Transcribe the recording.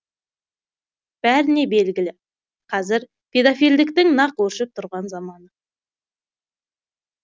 бәріне белгілі қазір педофилдіктің нақ өршіп тұрған заманы